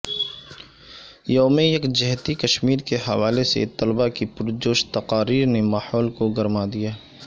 یوم یکجہتی کشمیر کے حوالے سے طلبہ کی پرجوش تقاریر نے ماحول کو گرما دیا